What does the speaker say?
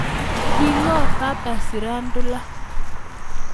King'oo Papa shirandula